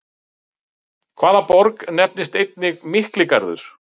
Hvaða borg nefnist einnig Mikligarður?